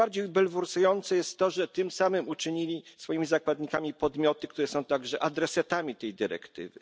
Najbardziej bulwersujące jest to, że tym samym uczynili swoimi zakładnikami podmioty, które są także adresatami tej dyrektywy.